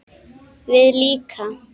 Við líka?